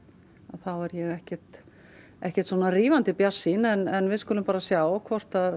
þá er ég ekkert ekkert rífandi bjartsýn en við skulum bara sjá hvort